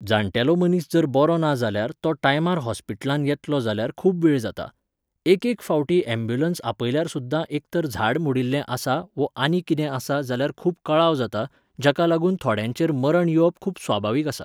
जाण्टेलो मनीस जर बरो ना जाल्यार तो टायमार हॉस्पिटलांत येतलो जाल्यार खूब वेळ जाता. एक एक फावटी ऍबुलन्स आपयल्यार सुद्दां एक तर झाड मोडिल्लें आसा वो आनी कितें आसा जाल्यार खूब कळाव जाता, जाका लागून थोड्यांचेर मरण येवप खूब स्वभावीक आसा.